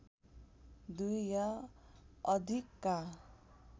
दुई या अधिकका